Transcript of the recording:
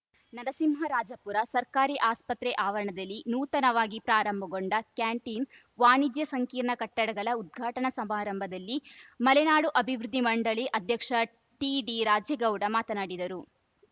ನರಸಿಂಹರಾಜಪುರ ಸರ್ಕಾರಿ ಆಸ್ಪತ್ರೆ ಆವರಣದಲ್ಲಿ ನೂತನವಾಗಿ ಪ್ರಾರಂಭಗೊಂಡ ಕ್ಯಾಂಟೀನ್‌ ವಾಣಿಜ್ಯ ಸಂಕೀರ್ಣ ಕಟ್ಟಡಗಳ ಉದ್ಘಾಟನಾ ಸಮಾರಂಭದಲ್ಲಿ ಮಲೆನಾಡು ಅಭಿವೃದ್ಧಿ ಮಂಡಳಿ ಅಧ್ಯಕ್ಷ ಟಿಡಿರಾಜೇಗೌಡ ಮಾತನಾಡಿದರು